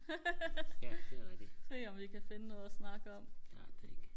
ja det er rigtigt ja ikke